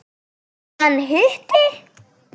Hún: Hann hitti.